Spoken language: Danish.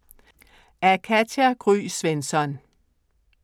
Af Katja Gry Svensson